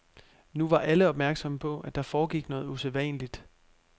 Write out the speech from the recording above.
Nu var alle opmærksomme på, at der foregik noget usædvanligt.